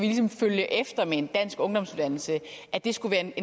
følge efter med en dansk ungdomsuddannelse skulle